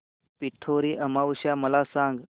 पिठोरी अमावस्या मला सांग